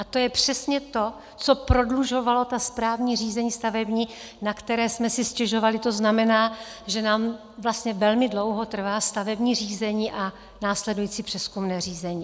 A to je přesně to, co prodlužovalo ta správní řízení stavební, na která jsme si stěžovali, to znamená, že nám vlastně velmi dlouho trvá stavební řízení a následující přezkumné řízení.